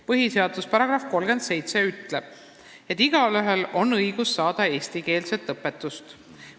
Põhiseaduse § 37 ütleb, et igaühel on õigus saada eestikeelset õpetust.